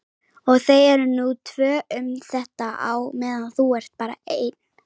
Og þau eru nú tvö um þetta á meðan þú ert bara ein.